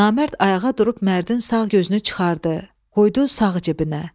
Namərd ayağa durub Mərdin sağ gözünü çıxartdı, qoydu sağ cibinə.